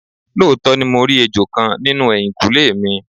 Looto ni mo ri ejo kan ninu ehinkunle mi